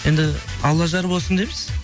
енді алла жар болсын дейміз